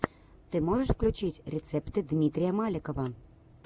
ты можешь включить рецепты дмитрия маликова